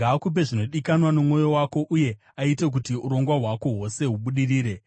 Ngaakupe zvinodikanwa nomwoyo wako, uye aite kuti urongwa hwako hwose hubudirire.